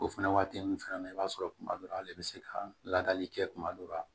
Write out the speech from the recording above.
O fɛnɛ waati nunnu fɛnɛ na i b'a sɔrɔ kuma dɔ la ale bɛ se ka ladali kɛ kuma dɔ la